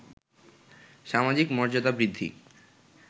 সামাজিক মর্যাদা বৃদ্ধি